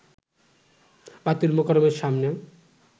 বায়তুল মোকাররমের সামনে